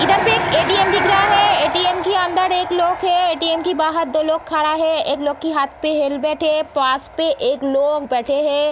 इधर पे एक ए.टी.एम. दिख रहा है ए.टी.एम के अंदर एक लोग हैं ए.टी.एम. के बाहर दो लोग खड़ा है एक लोग की हाथ पे हेलमेट है पास में एक लोग बैठे हैं।